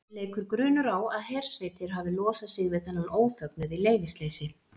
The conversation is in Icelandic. Leikur grunur á að hersveitir hafi losað sig við þennan ófögnuð í leyfisleysi.